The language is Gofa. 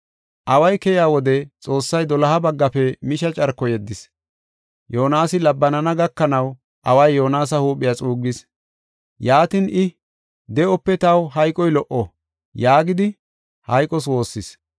Away keyiya wode Xoossay doloha baggafe misha carko yeddis. Yoonasi labbanana gakanaw away Yoonasa huuphiya xuuggis. Yaatin I, “De7ope taw hayqoy lo77o” yaagidi hayqos woossis.